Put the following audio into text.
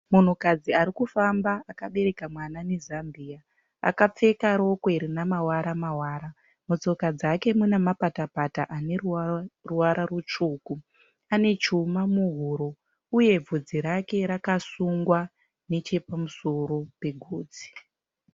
Munhukadzi ari kufamba akabereka mwana nezambia. Akapfeka rokwe rine mawara mawara. Mutsoka dzake mune mapata pata ane ruwara rutsvuku. Ane chuma muhuro uye vhudzi rake rakasungwa nechepamusoro pegotsi.